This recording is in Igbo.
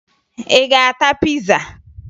Ị ga-ata piza?